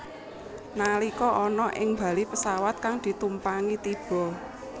Nalika ana ing bali pesawat kang ditumpangi tiba